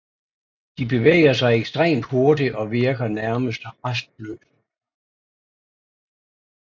De bevæger sig ekstremt hurtigt og virker nærmest rastløse